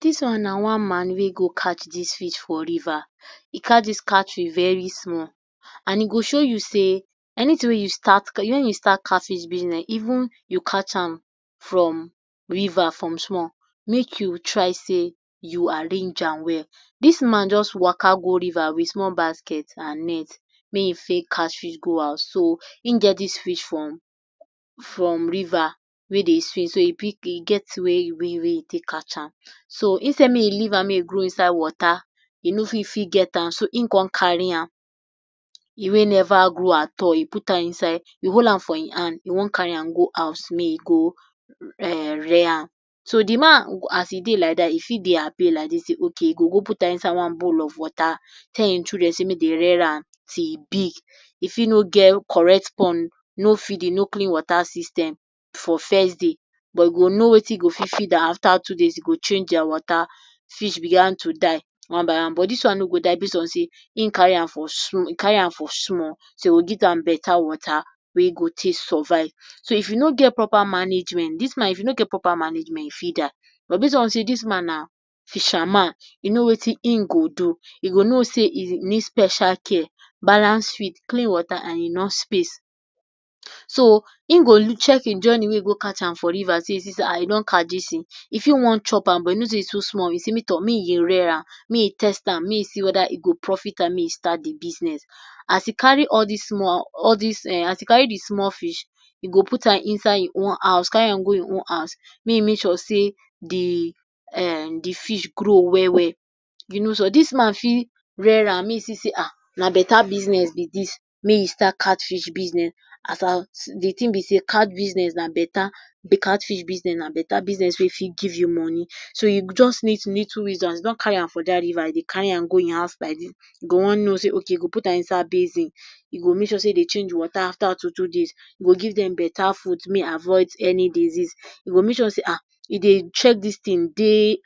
Dis one na one man wey e go catch dis fish for river. E catch dis catfish very small and e go show you sey anything wey you start when you start cat fish business, even you catch am from river from small, make you try sey you arrange am well. Dis man just waka go river with small basket and net may e fit catch fish go house. So in get dis fish from from river wey dey sweet so e fit be e get be wey wey e take catch am. So instead may e leave am may e grow inside water, e no fit fit get am, so in con carry am e wey never grow at all e put am inside, e hold am for im hand e want carry am go im house may e go um rear am so de man, as e dey like dat, e fit dey happy like dis sey okay e go go put am inside one bowl of water, tell im children sey make dey rear am till e big. E fit no get correct pond, no feeding no clean water system for first day but go know wetin you go fit feed am after two days, you go change dia water, fish began to die one by one but dis one no go die base on sey in carry am for small e carry am for small so e go give am beta water wey e go take survive. So if you no get proper management dis man if you no get proper management e fit die but base on sey dis one na fisherman, e know wetin im go do, e go know sey e go need special care, balance feed, clean water and enough space. so in go recheck in journey wey e go catch am for river so e see sey um I don catch dis thing e fit wan chop am, but e know sey e too small so e sey may um may im rear am may e test am may e see whether e go profit am may e start de business. As e carry all dis small all dis um as e carry de small fish, e go put am inside in own house carry am go e carry am go im own house may e make sure sey de um de fish grow well well, you know sey dis man fit rear am, may e see sey um na beta business be dis may e start cat fish business as at de thing be sey cat business na beta cat fish business na beta business wey e fit give you money. So you go just need little wisdom as you don carry am for dat river e go carry am go im go im house like dis you go want know sey okay you go put am inside basin, you go make sure sey you dey change water after two two days, you go give dem beta food may e avoid any disease, you go make sure sey um you dey check dis things day